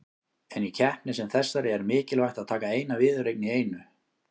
En í keppni sem þessari er mikilvægt að taka eina viðureign í einu.